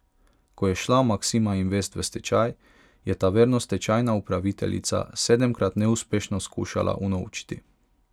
Ko je šla Maksima Invest v stečaj, je Taverno stečajna upraviteljica sedemkrat neuspešno skušala unovčiti.